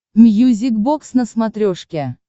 мьюзик бокс на смотрешке